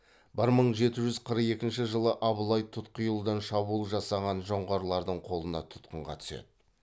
бір мың жеті жүз қырық екінші жылы абылай тұтқиылдан шабуыл жасаған жоңғарлардың қолына тұтқынға түседі